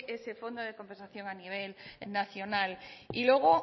cree ese fondo de compensación a nivel nacional y luego